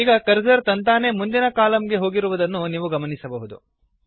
ಈಗ ಕರ್ಸರ್ ತಂತಾನೇ ಮುಂದಿನ ಕಲಮ್ ಗೆ ಹೋಗಿರುವುದನ್ನು ನೀವು ಗಮನಿಸಬಹುದು